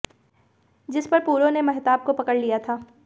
जिस पर पूरो ने महताब को पकड़ लिया था